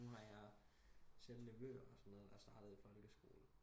Nu har jeg selv nevøer og sådan noget der er startet i folkeskole